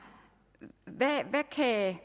sag at